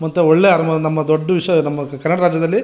ಮತ್ತೆ ಒಳ್ಳೆ ಹಾಗು ನಮ್ಮ ದೊಡ್ಡ ವಿಷ್ಯ ಕರ್ನಾಟಕ ರಾಜ್ಯದಲ್ಲಿ --